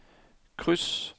kryds